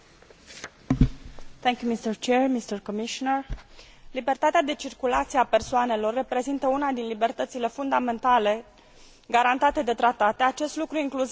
Libertatea de circulație a persoanelor reprezintă una din libertățile fundamentale garantate de tratat, acest lucru incluzând dreptul cetățenilor Uniunii de a trăi și de a lucra în alt stat membru.